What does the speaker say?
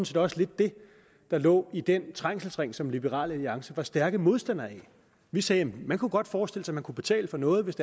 set også lidt det der lå i den trængselsring som liberal alliance var stærke modstandere af vi sagde man kunne godt forestille sig at man kunne betale for noget hvis